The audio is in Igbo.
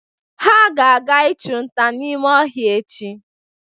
Ha ga-aga ịchụ nta n'ime ọhịa echi.